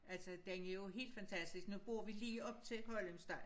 Altså den er jo helt fantastisk nu bor vi lige op til Højlyngssti